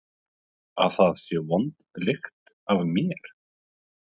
Að það sé vond lykt af mér?